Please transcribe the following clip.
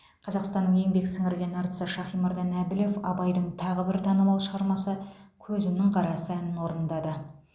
қазақстанның еңбек сіңірген әртісі шахимардан әбілов абайдың тағы бір танымал шығармасы көзімнің қарасы әнін орындады